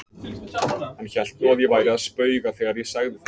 Hann hélt nú að ég væri að spauga þegar ég sagði það.